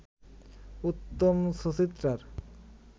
উত্তম-সুচিত্রার